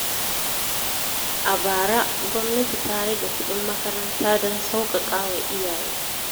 A bara, gwamnati ta rage kuɗin makaranta don sauƙaƙa wa iyaye.